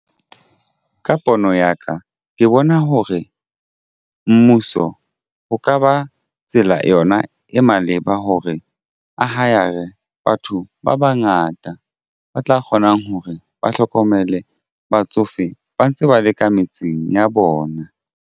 Ka pono ya ka ke bona hore mmuso ho ka ba tsela yona e maleba hore a hire batho ba bangata ba tla kgonang hore ba hlokomele batsofe ba ntse ba leka metseng ya bona.